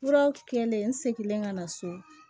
Furaw kɛlen n seginnen ka na so